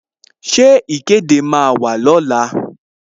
Ṣé ìkéde máa wà ní ọ̀la?